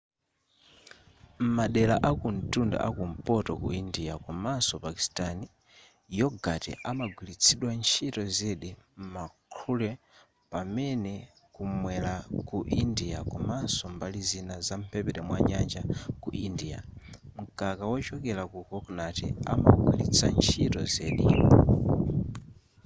m'madera akumtunda a kumpoto ku india komanso pakistan yogurt amagwiritsidwa ntchito zedi m'ma curry pamene kumwera ku india komanso mbali zina za mphepete mwa nyanja ku india mkaka wochokera ku kokonati amawugwiritsa ntchito zedi